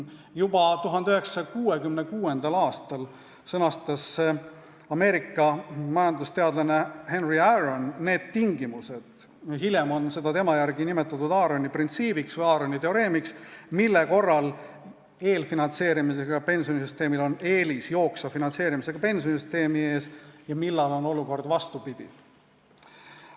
Juba 1966. aastal sõnastas Ameerika majandusteadlane Henry Aaron need tingimused – hiljem on seda lähenemisviisi hakatud tema järgi nimetama Aaroni printsiibiks või Aaroni teoreemiks –, mille korral eelfinantseerimisega pensionisüsteemil on jooksva finantseerimisega pensionisüsteemi ees eelis ja millal on olukord vastupidine.